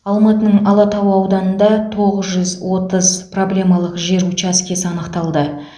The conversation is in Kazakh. алматының алатау ауданында тоғыз жүз отыз проблемалық жер учаскесі анықталды